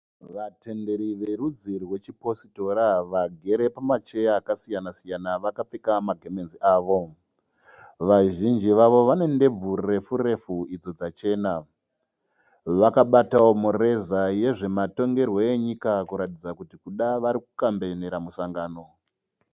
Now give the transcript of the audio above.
Vatenderi verudzi rwechipositora vagere pamacheya akasiyana siyana vakapfeka magemenzi avo. Vazhinji vavo vanendebvu refu refu idzo dzachena . Vakabatawo mureza yezvematongerwe enyika kuratidza kuda vari kukambenera musangano.